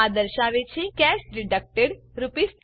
આ દર્શાવે છે કેશ ડિડક્ટેડ 20 રૂપીસ